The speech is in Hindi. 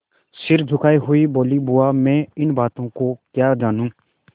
सिर झुकाये हुए बोलीबुआ मैं इन बातों को क्या जानूँ